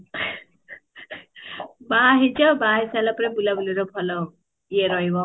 ବାହା ହେଇ ସାରିଛ ବାହା ହେଇ ସାରିଲା ପରେ ବୁଲା ବୁଲିର ଭଲ ଇଏ ରହିବ